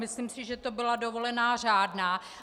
Myslím si, že to byla dovolená řádná.